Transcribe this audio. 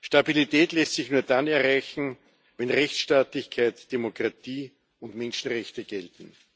Stabilität lässt sich nur dann erreichen, wenn Rechtstaatlichkeit, Demokratie und Menschenrechte gelten.